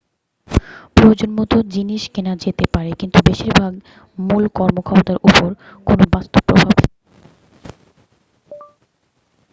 প্রয়োজনমত জিনিস কেনা যেতে পারে কিন্তু বেশিরভাগই মূল কর্মক্ষমতার উপর কোনো বাস্তব প্রভাব ফেলে না বললেই চলে